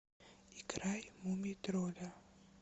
играй мумий тролля